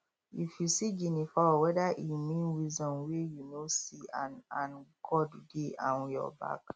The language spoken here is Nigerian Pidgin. if you see guinea fowl feather e mean wisdom wey you no see and and god dey um your back